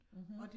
Mhm